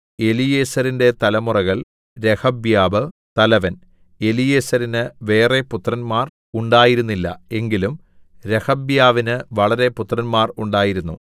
എലീയേസെരിന്റെ തലമുറകൾ രെഹബ്യാവ് തലവൻ എലീയേസെരിന് വേറെ പുത്രന്മാർ ഉണ്ടായിരുന്നില്ല എങ്കിലും രെഹബ്യാവിന് വളരെ പുത്രന്മാർ ഉണ്ടായിരുന്നു